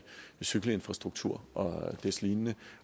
cykelinfrastruktur og deslignende